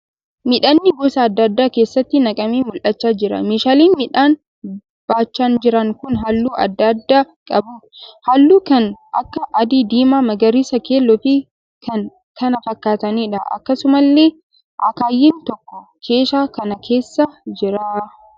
Midhaannii gosa adda addaa keeshaatti naqamee mul'achaa jira. Meeshaaleen midhaan baachaa jiran kun halluu adda addaa qabu. Halluu kan akka : adii, diimaa, magariisa, keelloo fi kan kana fakkataniidha. Akkasumallee akaayiin tokko keeshaa kana keessa jira.